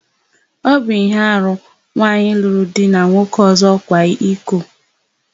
Ọ bụ íhé arụ nwaanyị lụrụ di na nwoke ọ̀zọ́ ịkwa iko.